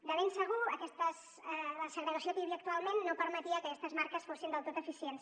de ben segur la segregació que hi havia actualment no permetia que aquestes marques fossin del tot eficients